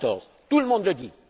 2014. Tout le monde le dit.